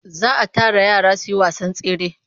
Za a tara yara su yi wasan tsere.